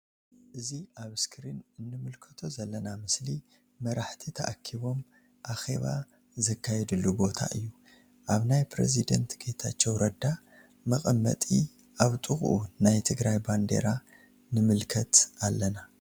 እዚ ኣብ እስክሪን እንምልከቶ ዘለና ምስሊ መራሕቲ ተኣኪቦም ኣኬባ ዘካየድሉ ቦታ እዩ። ኣብ ናይ ፕሬዝደንት ጌታቸው ረዳ መቀመጢ ኣብ ጥቅኡ ናይ ትግራይ ባንዴራ ንምልከት ኣለና።